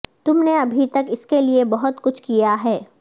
تم نے ابھی تک اس کے لئے بہت کچھ کیا ہے